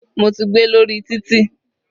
Mo ti gbé lórí títì.